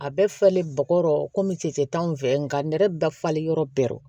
A bɛ falen bɔgɔ kɔmi cɛncɛn t'anw fɛ nka nɛrɛ bɛ falen yɔrɔ bɛɛ